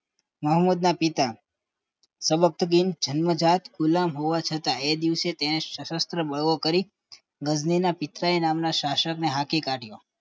મહંમદ ના પિતા તબગીન જન્મજાત ગુલમ હોવા છતાં તે દિવસે તેને શાસ્ત્ર બળો કરી ગજની ના પિતરાઇ નામના શાસકને હાંકી કાઢ્યો